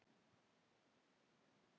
Stína var góð kona.